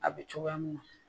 A bɛ cogoya minna